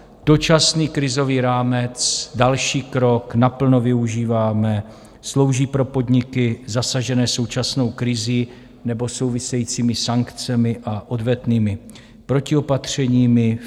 Dočasný krizový rámec - další krok, naplno využíváme, slouží pro podniky zasažené současnou krizí nebo souvisejícími sankcemi a odvetnými protiopatřeními.